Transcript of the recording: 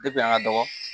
Depi an ka dɔgɔ